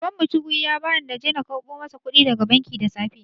Baban mu cheque ya ba ni na je na karɓo mai kuɗi daga banki da safe.